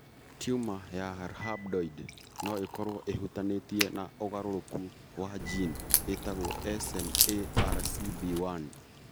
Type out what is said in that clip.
Tiuma ya rhabdoid no ĩkorũo ĩhutanĩtie na ũgarũrũku wa gene ĩtagwo SMARCB1.